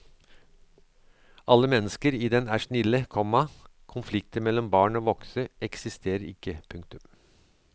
Alle mennesker i den er snille, komma konflikter mellom barn og voksne eksisterer ikke. punktum